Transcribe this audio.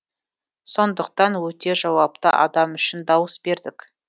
сондықтан өте жауапты адам үшін дауыс бердік